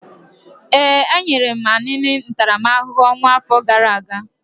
Ee, e nyere Anini ntaramahụhụ ọnwụ afọ gara aga.